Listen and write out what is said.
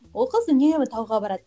ол қыз үнемі тауға барады